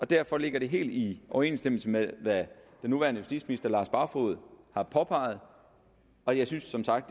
derfor ligger det helt i overensstemmelse med hvad den nuværende justitsminister herre lars barfoed har påpeget og jeg synes som sagt